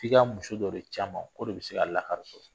F'i ka muso dɔ de ci a man o de bɛ se ka lakari sɔrɔ